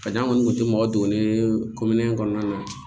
N'an kɔni tun tɛ mɔgɔ don ne ye kɔnɔna la